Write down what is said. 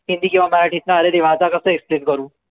हिंदी किंव्हा मराठीतनं अरे देवा आता कस explain करू